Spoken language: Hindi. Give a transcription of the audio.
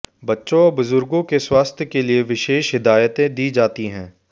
बच्चों व बुजुर्गों के स्वास्थ्य के लिए विशेष हिदायतें दी जाती हैं